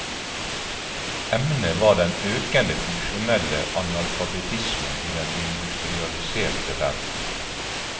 Emnet var den økende funksjonelle analfabetismen i den industrialiserte verden.